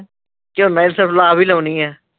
ਝੋਨਾ ਇਸ ਵਾਰ ਲਾ ਵੀ ਲਾਉਣੀ ਹੈ